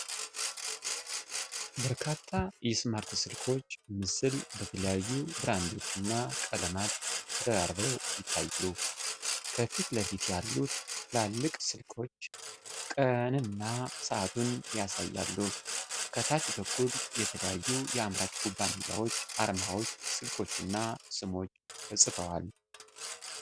በርካታ የስማርት ስልኮች ምስል በተለያዩ ብራንዶችና ቀለማት ተደራርበው ይታያሉ። ከፊት ለፊት ያሉት ትላልቅ ስልኮች ቀኑንና ሰዓቱን ያሳያሉ፤ ከታች በኩል የተለያዩ የአምራች ኩባንያዎች አርማዎች፣ ስልኮችና ስሞች ተጽፈዋል።